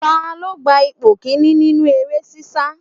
Ta ló gba ipò kìíní nínú eré sisa?